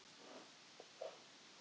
Þá var hafist handa við að versla.